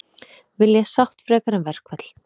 Vilja sátt frekar en verkfall